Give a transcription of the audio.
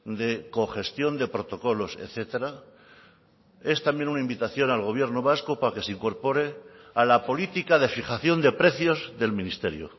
de cogestión de protocolos etcétera es también una invitación al gobierno vasco para que se incorpore a la política de fijación de precios del ministerio